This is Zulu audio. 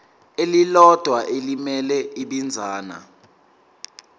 elilodwa elimele ibinzana